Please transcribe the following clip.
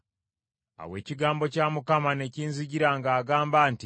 Awo ekigambo kya Mukama ne kinzijira ng’agamba nti,